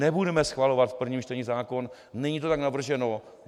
Nebudeme schvalovat v prvním čtení zákon, není to tak navrženo.